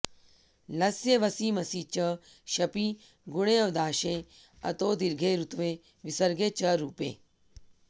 लस्य वसि मसि च शपि गुणेऽवादेशे अतोदीर्घे रुत्वे विसर्गे च रूपे